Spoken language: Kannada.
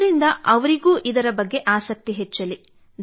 ಅದರಿಂದ ಅವರಿಗೂ ಇದರ ಬಗ್ಗೆ ಆಸಕ್ತಿ ಹೆಚ್ಚಲಿ